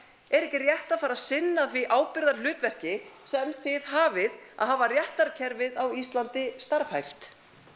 er ekki rétt að fara að sinna því ábyrgðarhlutverki sem þið hafið að hafa réttarkerfið á Íslandi starfhæft